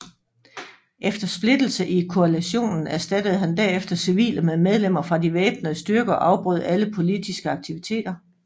Efter splittelse i koalitionen erstattede han derefter civile med medlemmer fra de væbnede styrker og afbrød alle politiske aktiviteter